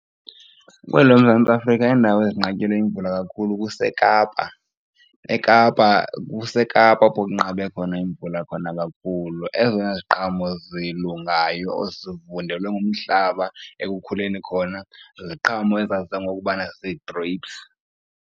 Kweli loMzantsi Afrika iindawo ezinqatyelwe yimvula kakhulu kuseKapa, eKapa kuseKapa apho kunqabe khona imvula khona kakhulu. Ezona ziqhamo zilungayo ezivundelwe ngumhlaba ekukhuleni khona ziziqhamo ezaziwa ngokubana zii-grapes.